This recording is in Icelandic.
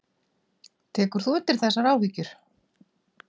Tekur þú undir þessar áhyggjur?